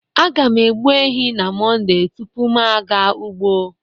aga m egbu ehi na Monde tupu m aga ugbo